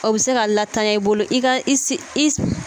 O bɛ se ka latanya i bolo i ka i